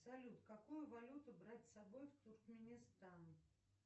салют какую валюту брать с собой в туркменистан